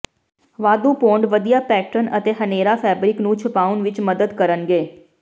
ਵਾਧੂ ਪੌਂਡ ਵਧੀਆ ਪੈਟਰਨ ਅਤੇ ਹਨੇਰਾ ਫੈਬਰਿਕ ਨੂੰ ਛੁਪਾਉਣ ਵਿਚ ਮਦਦ ਕਰਨਗੇ